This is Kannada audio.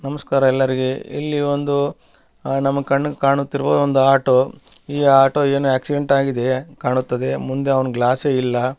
ನಮಸ್ಕಾರ ಎಲ್ಲರಿಗೆ ಇಲ್ಲಿ ಒಂದು ನಮ್ಮ ಕಣ್ಣಿಗೆ ಕಾಣುತ್ತಿರುವ ಒಮ್ದು ಆಟೊ ಈ ಆಟೊ ಎನೊ ಆಕ್ಸಿಡೆಂಟ್ ಆಗಿದೆ ಕಾಣುತ್ತದೆ ಮುಂದ್ ಒಂದು ಗ್ಲಾಸು ಇಲ್ಲ.